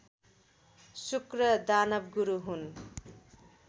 शुक्र दानवगुरु हुन्